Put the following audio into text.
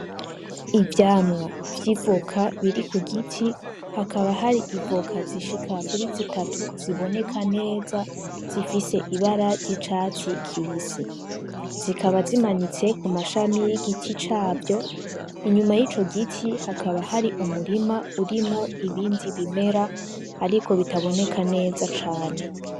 Ivyamwa vy'ivuka biri ku giti hakaba hari ivuka zishika kuri zitatu ziboneka neza zifise ibara ry'icatsi kibisi zikaba zimanitse ku mashami y'igiti cavyo inyuma y'ico giti hakaba hari umurima urimo ibindi bimera, ariko bitaboneka neza cane.